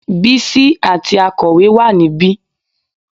Bísí àti akọ̀wé wà níbí